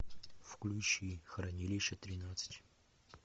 включи хранилище тринадцать